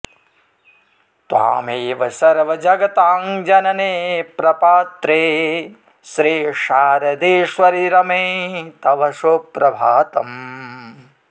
त्वामेव सर्वजगतां जननि प्रपात्रि श्रीशारदेश्वरि रमे तव सुप्रभातम्